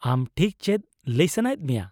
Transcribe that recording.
-ᱟᱢ ᱴᱷᱤᱠ ᱪᱮᱫ ᱞᱟᱹᱭ ᱥᱟᱱᱟᱭᱮᱫ ᱢᱮᱭᱟ ?